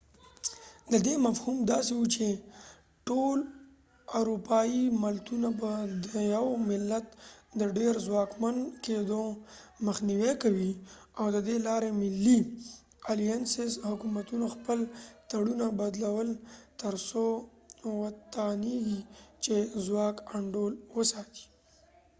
ددې مفهوم داسې و چې ټول اروپایې ملتونه به د یو ملت د ډیر څواکمن کېدو مخنیوې کوي او ددې لارې ملی حکومتونو خپل تړونونه alliances بدلول تر څو و توانیږی چې ځواک انډول وساتي